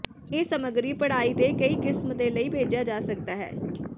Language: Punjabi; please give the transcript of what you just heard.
ਇਹ ਸਮੱਗਰੀ ਪੜ੍ਹਾਈ ਦੇ ਕਈ ਕਿਸਮ ਦੇ ਲਈ ਭੇਜਿਆ ਜਾ ਸਕਦਾ ਹੈ